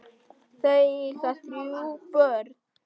Þau eiga þrjú börn.